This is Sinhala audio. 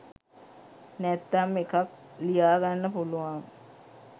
නැත්නම් එකක් ලියාගන්න පුලුවන්